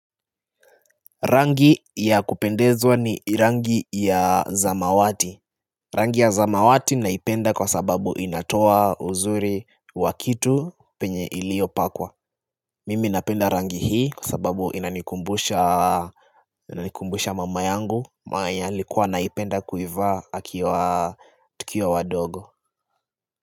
Rangi ya kupendeza ni rangi ya zamawati. Rangi ya zamawati naipenda kwa sababu inatoa uzuri wa kitu penye iliopakwa. Mimi napenda rangi hii kwa sababu inanikumbusha mama yangu yeye alikuwa anaipenda kuivaa akiwa tukiwa wadogo.